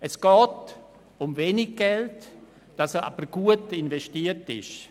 Es geht um wenig und gut investiertes Geld.